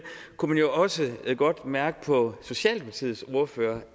kunne man jo også godt mærke på socialdemokratiets ordfører